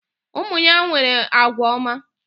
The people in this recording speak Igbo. Ụmụ ya nwere agwa ọma.